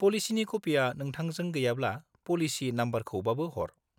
-पलिसिनि कपिया नोंथांजों गैयाब्ला, पलिसि नमबरखौबाबो हर।